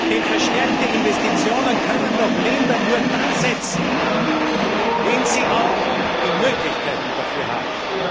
Denn verstärkte Investitionen können Länder nur dann setzen, wenn sie auch die Möglichkeiten dafür haben.